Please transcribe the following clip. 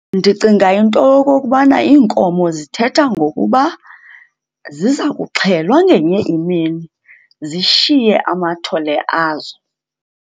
Ndicinga into yokokubana iinkomo zithetha ngokuba ziza kuxhelwa ngenye imini zishiye amathole azo.